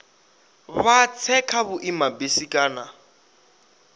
vha tse kha vhuimabisi kana